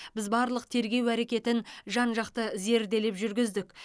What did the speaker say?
біз барлық тергеу әрекетін жан жақты зерделеп жүргіздік